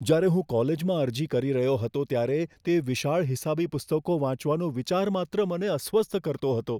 જ્યારે હું કોલેજમાં અરજી કરી રહ્યો હતો ત્યારે તે વિશાળ હિસાબી પુસ્તકો વાંચવાનો વિચાર માત્ર મને અસ્વસ્થ કરતો હતો.